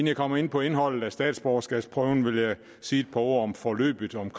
jeg kommer ind på indholdet af statsborgerskabsprøven vil jeg sige et par ord om forløbet om